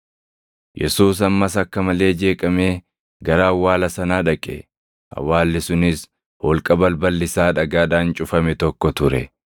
Yesuus ammas akka malee jeeqamee gara awwaala sanaa dhaqe. Awwaalli sunis holqa balballi isaa dhagaadhaan cufame tokko ture.